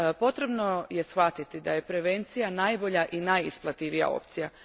Potrebno je shvatiti da je prevencija najbolja i najisplativija opcija.